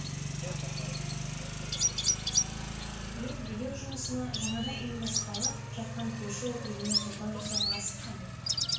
ел билеу жұмысына жаңадан ұйымдасқалы жатқан көрші округіне сұлтан жасауға асыққан